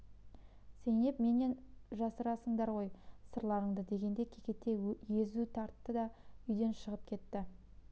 зейнеп менен жасырасыңдар ғой сырларыңды дегендей кекете езу тартты да үйден шығып кетті